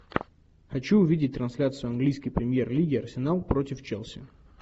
хочу увидеть трансляцию английской премьер лиги арсенал против челси